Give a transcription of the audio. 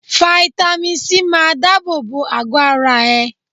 Fáítámì Sí máa dábò bo àgọ́ ara ẹ.